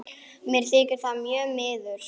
Mér þykir það mjög miður.